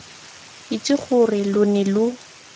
itse gore lo ne lo